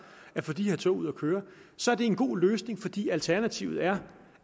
at få de her tog ud at køre så er det en god løsning fordi alternativet er